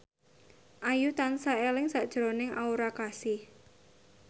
Ayu tansah eling sakjroning Aura Kasih